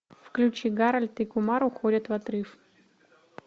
включи гарольд и кумар уходят в отрыв